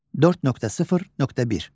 4.0.1.